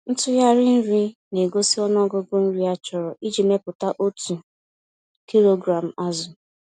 Ntughari nri na-egosi ọnụọgụ nri achọrọ iji mepụta otu kilogram azụ.